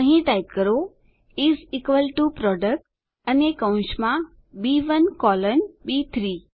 અહીં ટાઈપ કરો is equal to product અને કૌંસમાં બી1 કોલન બી3